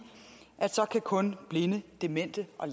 at så kan kun blinde demente og